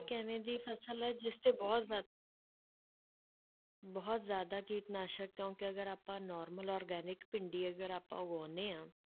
ਇੱਕ ਇਵੇਂ ਦੀ ਫਸਲ ਹੈ ਜਿਸ ਤੇ ਬਹੁਤ ਜ਼ਿਆ~ ਬਹੁਤ ਜ਼ਿਆਦਾ ਕੀਟਨਾਸ਼ਕ ਕਿਉਂਕਿ ਅਗਰ ਆਪਾਂ normal organic ਭਿੰਡੀ ਅਗਰ ਆਪਾਂ ਉਗਾਉਂਦੇ ਹਾਂ,